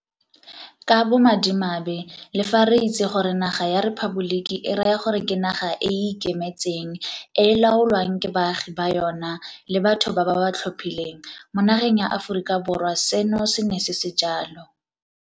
Ka bomadimabe le fa re itse gore naga ya 'rephaboliki' e raya gore ke naga e e ikemetseng e e laolwang ke baagi ba yona le batho ba ba ba tlhophileng, mo nageng ya Aforika Borwa seno se ne se se jalo.